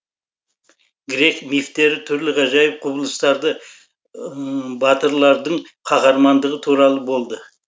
грек мифтері түрлі ғажайып құбылыстарды батырлардың қаһармандығы туралы болды